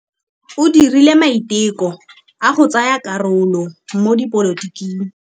O dirile maitekô a go tsaya karolo mo dipolotiking.